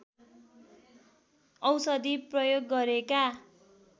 औषधि प्रयोग गरेका